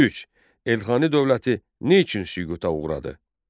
Üç, Elxani dövləti niçün süquta uğradı?